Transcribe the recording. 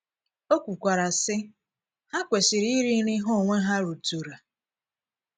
Ọ̀ kwukwara, sị: “:“ Ha kwesịrị íri nri ha onwe ha rùtùra. ”